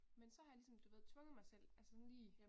Men så har jeg ligesom du ved tvunget mig selv altså sådan lige